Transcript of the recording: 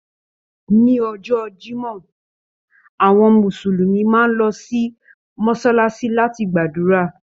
Ni ọjọ́ Jimọ, àwọn Mùsùlùmí máa n lọ sí Mọsalasi láti gbàdúrà.